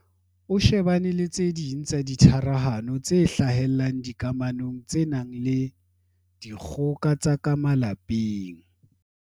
o shebane le tse ding tsa ditharahano tse hlahellang dikamanong tse nang le dikgoka tsa ka malapeng.